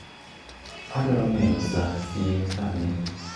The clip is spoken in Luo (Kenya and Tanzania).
adwaro ng'eyo sa sie sani